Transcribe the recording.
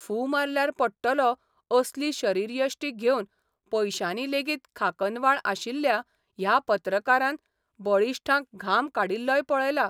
फू मारल्यार पडटलो असली शरीरयश्टी घेवन पयशांनी लेगीत खाकनवाळ आशिल्ल्या ह्या पत्रकारान बळिश्ठांक घाम काडिल्लोय पळयला.